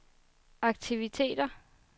aktiviteter